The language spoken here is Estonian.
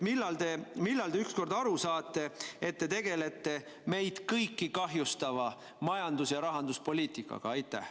Millal te ükskord aru saate, et te tegelete meid kõiki kahjustava majandus- ja rahanduspoliitikaga?